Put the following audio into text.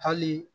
Hali